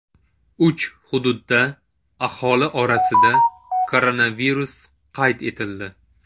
Uch hududda aholi orasida koronavirus qayd etildi.